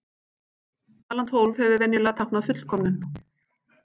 Talan tólf hefur venjulega táknað fullkomnum.